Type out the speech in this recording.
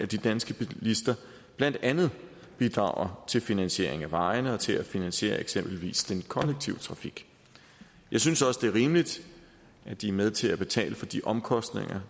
de danske bilister blandt andet bidrager til finansieringen af vejene og til at finansiere eksempelvis den kollektive trafik jeg synes også det er rimeligt at de er med til at betale for de omkostninger